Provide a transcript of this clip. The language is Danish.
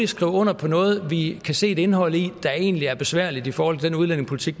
skrive under på noget som vi kan se et indhold i der egentlig er besværligt i forhold til den udlændingepolitik